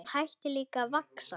Hann hætti líka að vaxa.